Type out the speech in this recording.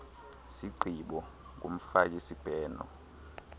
sigqibo kumfaki sibheno